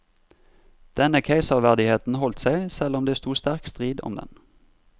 Denne keiserverdigheten holdt seg, selv om det stod sterk strid om den.